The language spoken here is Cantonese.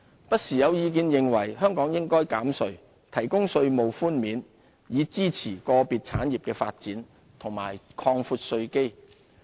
不時有意見認為，香港應減稅，提供稅務寬免以支持個別產業發展，以及擴闊稅基。